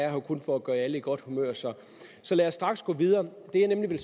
jo kun for at gøre alle i godt humør så så lad os straks gå videre jeg vil nemlig